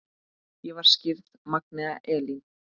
Ég var skírð Magnea Elín.